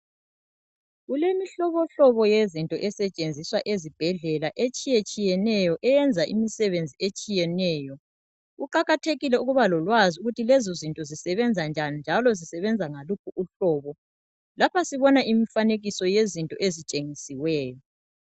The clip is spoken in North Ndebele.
kulemihlobohlobo yezinto esetshenziswa ezibhedlela etshiyetshiyeneyo eyenza imisebenzi etshiyeneyo kuqakathekile ukuba lolwazi ukuthi lezo zinto zisebenza njani njalo zisebenza ngaluphi uhlobo lapha sibona imfanekiso yezinto ezitshengisiweyo